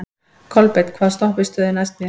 Kolbeinn, hvaða stoppistöð er næst mér?